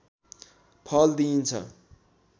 फल दिइन्छ